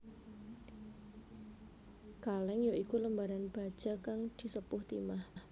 Kalèng ya iku lembaran baja kang disepuh timah